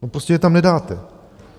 Prostě je tam nedáte.